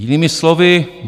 Jinými slovy.